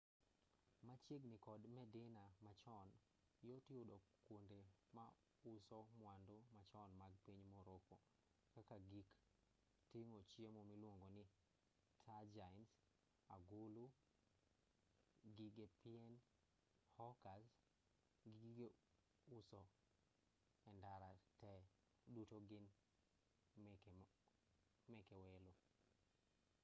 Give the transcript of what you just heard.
machiegini kod medina machon yot yudo kuonde ma uso mwandu machon mag piny morroco kaka gik ting'o chiemo miluongoni tagines agulu gige pien hookahs gi gige uso endara te duto gin meke welo